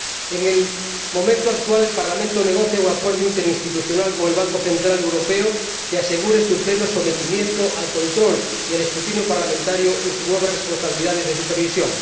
En el momento actual, el Parlamento negocia un acuerdo interinstitucional con el Banco Central Europeo que asegure su pleno sometimiento al control y al escrutinio parlamentario en sus nuevas responsabilidades de supervisión.